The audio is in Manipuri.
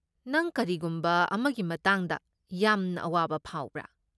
ꯅꯪ ꯀꯔꯤꯒꯨꯝꯕ ꯑꯃꯒꯤ ꯃꯇꯥꯡꯗ ꯌꯥꯝꯅ ꯑꯋꯥꯕ ꯐꯥꯎꯕ꯭ꯔꯥ?